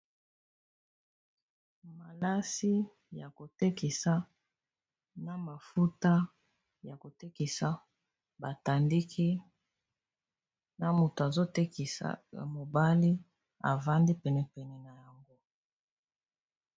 Malasi ya kotekisa na mafuta ya kotekisa ba tandiki na motu azotekisa ya mobali avandi pene pene na yango.